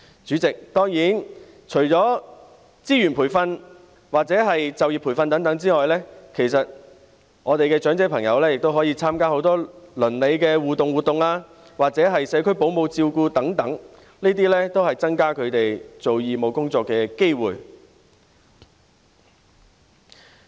主席，當然，除了資源、培訓或就業培訓外，我們的長者朋友也可以參加很多鄰里互動活動或社區保姆照顧服務等，這些也可以增加他們做義務工作的機會。